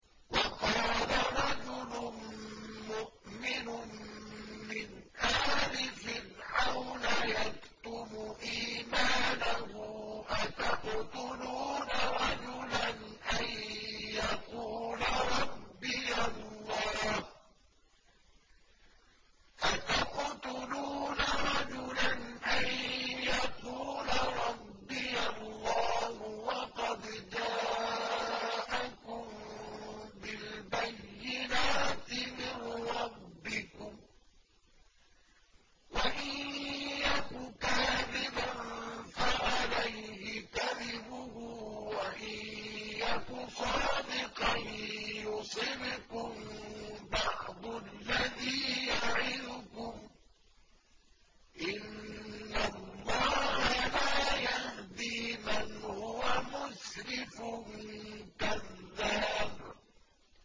وَقَالَ رَجُلٌ مُّؤْمِنٌ مِّنْ آلِ فِرْعَوْنَ يَكْتُمُ إِيمَانَهُ أَتَقْتُلُونَ رَجُلًا أَن يَقُولَ رَبِّيَ اللَّهُ وَقَدْ جَاءَكُم بِالْبَيِّنَاتِ مِن رَّبِّكُمْ ۖ وَإِن يَكُ كَاذِبًا فَعَلَيْهِ كَذِبُهُ ۖ وَإِن يَكُ صَادِقًا يُصِبْكُم بَعْضُ الَّذِي يَعِدُكُمْ ۖ إِنَّ اللَّهَ لَا يَهْدِي مَنْ هُوَ مُسْرِفٌ كَذَّابٌ